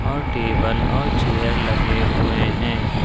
और टेबल और चेयर लगे हुए हैं।